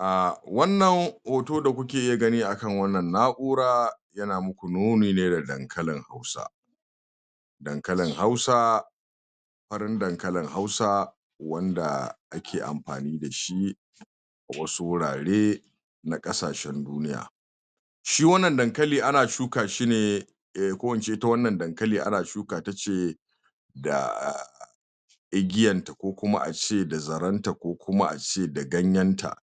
um Wannan hoto da kuke gani akan wannan na'ura yana muku nuni ne da dankalin hausa dankalin hausa farin dankalin hausa wanda ake amfani dashi wasu wurare na kasashen duniya. shi wanna dankalin ana shuka shine ko ince ita wannan dankali ana shuka tace da igiyanta ko kuma ace da zarenta ko kuma ace da ganyenta.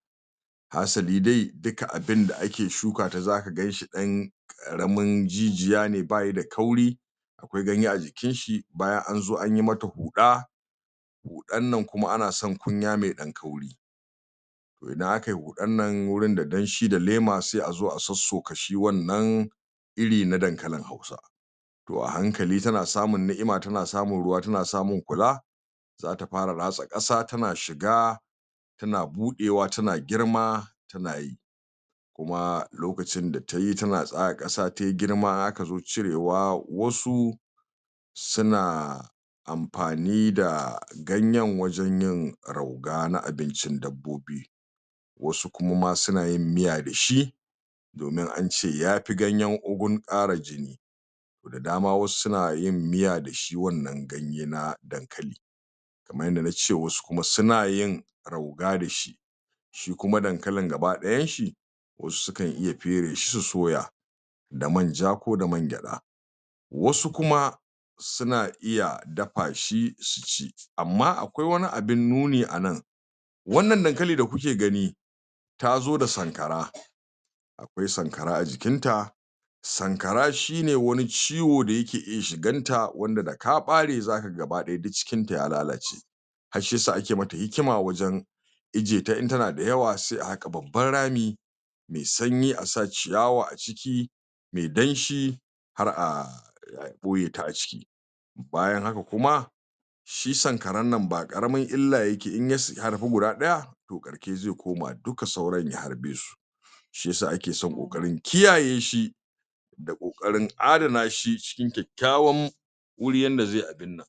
hasabi dai dika abinda ake shukata zaka ganshi ɗan karamin jijiyane bayi da kauri akwai ganye a jikinshi baya anzo anyi mata huɗa huɗan nan kuma ana san kunya mai ɗan kauri to idan aka yi huɗan nan wurin da danshi da lema sai azo a sossoka shi wannan iri na dankalin hausa to hankali tana samin niima tana samin ruwa tana samin kula zata fara ratsa kasa tana shiga tana buɗewa tana girma tana yi kuma lokacin da tayi tana tsaga kasa tayi girma aka zo cirewa wasu suna amfani da ganyen wajen yin rauga na abincin dabbobi wasu kuma ma suna yin miya dashi domin ance yafi ganyen ugu ƙara jini da dama wasu suna yin miya da shi wannan ganye na dankalin kaman yanda nace wasu kuma suna yin rauga dashi shi kuma dankalin gaba dayanshi wasu sukan iya pere shi su soya da manja ko da man gyada wasu kuma suna iya dafa shi su ci amma akwai awani abin nuni anan wannan dankali da kuke gani tazo da sankara akwai sankara a jikinta sankara shine wani ciwo da yake iya shiga jikinta wanda da ka ɓare zaka ga gaba daya duk cikin ta ya lalace har shiyasa ake mata hikima wajen ijiye ta in tana dayawa sai a haƙa babban rami mai sanyi a sa ciyawa a ciki mai danshi har a ɓoyeta a ciki bayan haka kuma shi sankaran nan ba qaramin illa yake ya harbi guda ɗaya to ƙarke zai koma duka sauran ya harbesu shiyasa ake son ƙoƙarin kiyayeshi da ƙoƙarin adana shi cikin kyakyawan wuri yanda zai abinnan